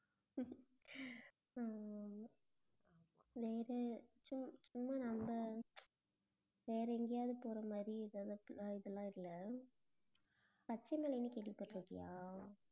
ஆமா ஆமா வேற சு~ சும்மா நம்ம வேற எங்கேயாவது போற மாதிரி அஹ் இது எல்லாம் இல்லை. பச்சைமலைன்னு கேள்விப்பட்டிருக்கியா